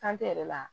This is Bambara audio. Kan te yɛrɛ la